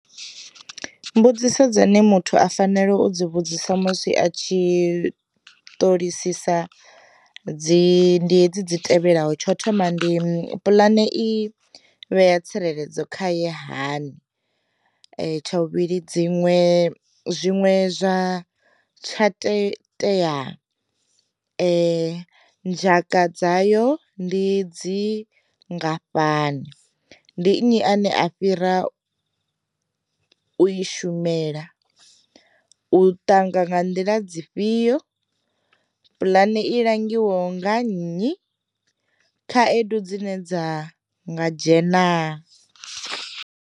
Mbudziso dzine muthu a fanele u dzi vhudzisa musi a tshi ṱolisisa, dzi ndi hedzi dzi tevhelaho tsho thoma ndi pulane i vhea tsireledzo khaye hani, tsha vhuvhili dziṅwe zwiṅwe zwa tsha tsha tea dzhaka dzayo ndi dzi ngafhani, ndi nnyi ane a fhira u i shumela, u ṱanga nga nḓila dzifhio, pulane i langiwa nga nnyi, khaedu dzine dza nga dzhena.